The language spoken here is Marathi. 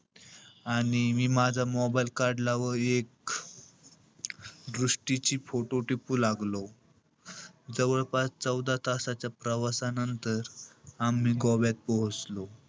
आणि मी माझा mobile काढला व एक दृष्टीची photo टिपू लागलो. जवळपास चौदा तासाच्या प्रवासानंतर आम्ही गोव्यात पोहोचलो.